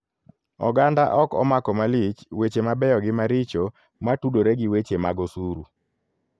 Oganda ok omako malich weche mabeyo gi maricho matudore gi weche mag osuru.